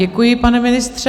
Děkuji, pane ministře.